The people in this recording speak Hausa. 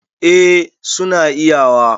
eh suna iyawa